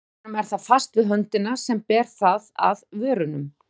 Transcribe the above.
Í huganum er það fast við höndina sem ber það að vörunum.